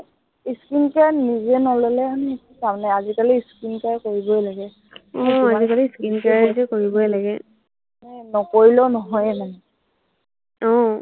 উম